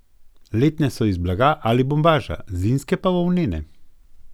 Letne so iz blaga ali bombaža, zimske pa volnene.